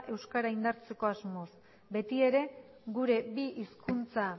euskara indartzeko asmoz beti ere gure bi hizkuntza